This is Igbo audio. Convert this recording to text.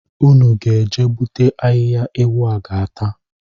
Unu ga-eje gbute ahịhịa ewu a ga-ata